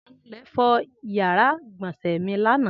Anulẹ̀ fọ ìyàrá-ìgbọ̀nsẹ̀ mi lánàá.